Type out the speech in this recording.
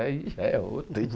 Aí já é outro.